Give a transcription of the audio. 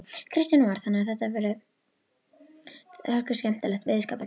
Kristján Már: Þannig að þetta er hörkuskemmtilegur veiðiskapur?